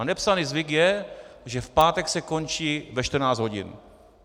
A nepsaný zvyk je, že v pátek se končí ve 14 hodin.